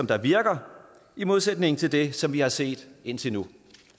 der virker i modsætning til det som vi har set indtil nu